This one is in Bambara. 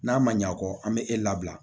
N'a ma ɲɛ a kɔ an bɛ e labila